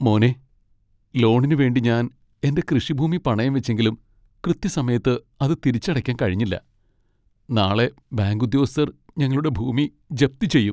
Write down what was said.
മോനെ, ലോണിനു വേണ്ടി ഞാൻ എന്റെ കൃഷിഭൂമി പണയം വെച്ചെങ്കിലും കൃത്യസമയത്ത് അത് തിരിച്ചടയ്ക്കാൻ കഴിഞ്ഞില്ല. നാളെ ബാങ്ക് ഉദ്യോഗസ്ഥർ ഞങ്ങളുടെ ഭൂമി ജപ്തി ചെയ്യും.